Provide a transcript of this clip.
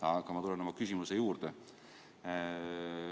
Aga ma tulen oma küsimuse juurde.